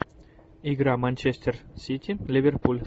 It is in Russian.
игра манчестер сити ливерпуль